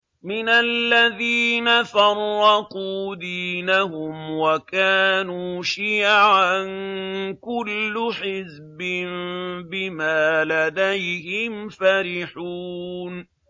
مِنَ الَّذِينَ فَرَّقُوا دِينَهُمْ وَكَانُوا شِيَعًا ۖ كُلُّ حِزْبٍ بِمَا لَدَيْهِمْ فَرِحُونَ